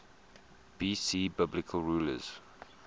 bc biblical rulers